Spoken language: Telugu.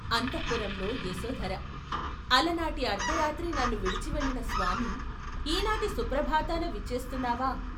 అంతఃపురంలో యశోధర, అలనాటి అర్థరాత్రి నన్ను విడిచివెళ్ళిన స్వామి, ఈ నాటి సుప్రభాతాన విచ్చేస్తున్నావా?